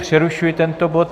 Přerušuji tento bod.